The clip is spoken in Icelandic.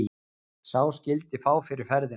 Sá skyldi fá fyrir ferðina.